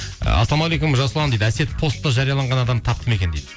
ассалаумағалейкум жасұлан дейді әсет постта жарияланған адамды тапты ма екен дейді